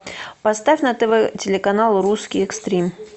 поставь на тв телеканал русский экстрим